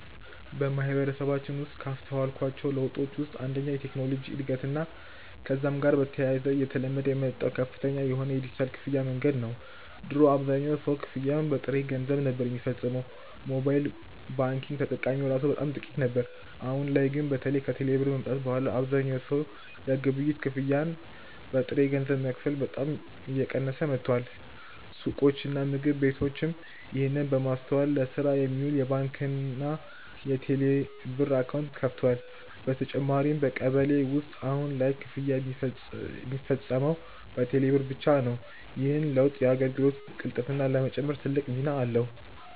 በማህበረሰባችን ውስጥ ካስተዋልኳቸው ለውጦች ውስጥ አንደኛው የቴክኖሎጂ እድገትና ከዛም ጋር በተያያዘ እየተለመደ የመጣው ከፍተኛ የሆነ የዲጂታል ክፍያ መንገድ ነው። ድሮ አብዛኛው ሰው ክፍያን በጥሬ ገንዘብ ነበር ሚፈጽመው፤ ሞባይል ባንኪንግ ተጠቃሚ እራሱ በጣም ጥቂት ነበር። አሁን ላይ ግን በተለይ ከቴሌ ብር መምጣት በኋላ አብዛኛው ሰው የግብይት ክፍያን በጥሬ ገንዘብ መክፈል በጣም እየቀነሰ መጥቷል። ሱቆችና ምግብ ቤቶችም ይህንን በማስተዋል ለስራ የሚውል የባንክና የቴሌብር አካውንት ከፍተዋል። በተጨማሪም በቀበሌ ውስጥ በአሁን ላይ ክፍያ ሚፈጸመው በቴሌ ብር ብቻ ነው። ይህ ለውጥ የአገልግሎት ቅልጥፍናን ለመጨመር ትልቅ ሚና አለው።